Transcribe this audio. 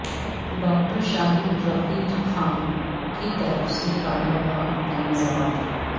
doctor Shaheen Rafi Khan کی طرف سے کالا باغ تنازعات